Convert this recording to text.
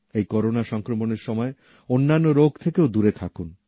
এই করোনা সংক্রমনের সময় অন্যান্য রোগ থেকেও দূরে থাকুন